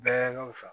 Bɛɛ ka wusa